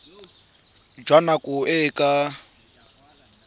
jwa nako e e ka